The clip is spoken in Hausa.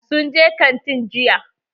Sun je kantin jiya.